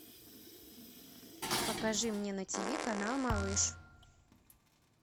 покажи мне на тиви канал малыш